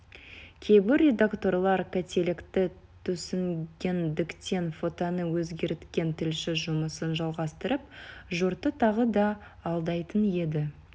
кейбір редакторлар қателікті түсінгендіктен фотоны өзгерткен тілші жұмысын жалғастырып жұртты тағы да алдайтын еді